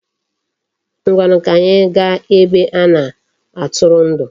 Ngwanu, ka anyi gaa ebe a na-atụrụndụ.